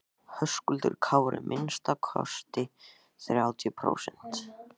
Höskuldur Kári: Minnsta kosti þrjátíu prósent?